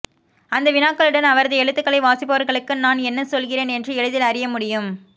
அந்த வினாக்களுடன் அவரது எழுத்துக்களை வாசிப்பவர்களுக்கு நான் என்ன சொல்கிறேன் என்று எளிதில் அறியமுடியும்